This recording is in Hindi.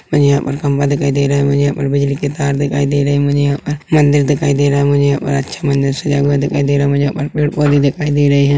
मुझे यहाँ पर खंबा दिखाई दे रहा है मुझे यहाँ पर बिजली की तार दिखाई दे रहे है मुझे यहाँ पर मन्दिर दिखाई दे रहा है मुझे यहाँ पर अच्छा मन्दिर सजा हुआ दिखाई दे रहा है मुझे यहाँ पर पेड़ पौधे दिखाई दे रहे हैं।